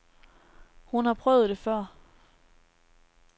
Hun har prøvet det før.